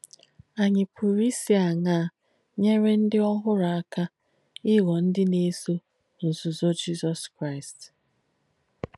Ànyì pùrū īsì àṅaa nyére ndí òhùrù àka ìghọ̀ ndí nà-èsò nzùzọ̀ Jísọ̀s Kráīst?